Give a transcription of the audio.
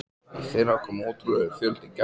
Í fyrra kom ótrúlegur fjöldi gesta.